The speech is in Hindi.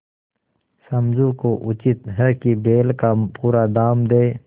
समझू को उचित है कि बैल का पूरा दाम दें